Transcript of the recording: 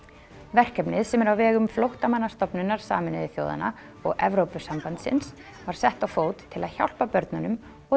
verkefnið sem er á vegum Flóttamannastofnunar Sameinuðu þjóðanna og Evrópusambandsins var sett á fót til að hjálpa börnunum og